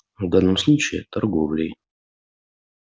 в данном случае торговлей